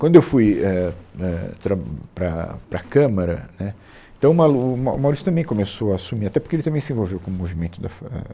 Quando eu fui, é, é, tra para para a Câmara, né, então o Malu, o Mau o Maurício também começou a assumir, até porque ele também se envolveu com o movimento da Fa ah